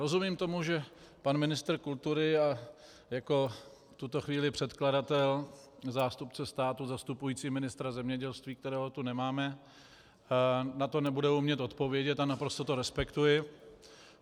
Rozumím tomu, že pan ministr kultury a jako v tuto chvíli předkladatel, zástupce státu zastupující ministra zemědělství, kterého tu nemáme, na to nebude umět odpovědět, a naprosto to respektuji.